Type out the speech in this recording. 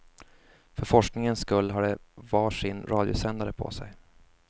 För forskningens skull har de var sin radiosändare på sig.